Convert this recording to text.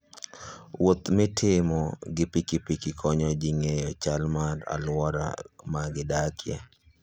Wuoth mitimo gi pikipiki konyo ji ng'eyo chal mar alwora ma gidakie.